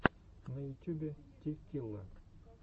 на ютюбе ти килла